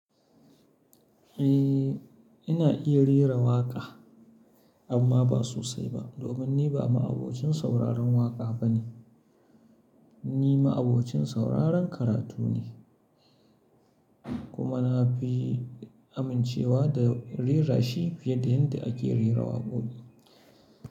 Eh, ina iya rera waƙa amma ba sosai ba domin ni ba ma'abocin sauraron waƙa bane. Ni ma'abocin sauraron karatu ne kuma na fi amincewa da rera shi fiye da yadda ake rera waƙoƙi.